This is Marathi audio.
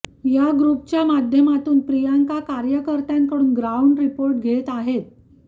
या ग्रुपच्या माध्यमातून प्रियांका कार्यकर्त्यांकडून ग्राऊंड रिपोर्ट घेत आहेत